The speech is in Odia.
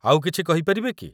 ଆଉ କିଛି କହିପାରିବେ କି?